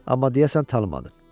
Amma deyəsən tanımadın.